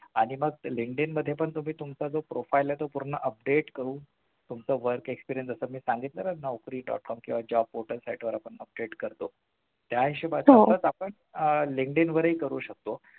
आणि मग Linkdin मध्ये पण तुम्ही तुमचं profile आहे तो पूर्ण update तुमचं work experience जसं मी सांगितलं Naukri. com किंवा ज्या portal site वर आपण update करतो त्या हिशोबाने आपण आह Linkdin वरही करू शकतो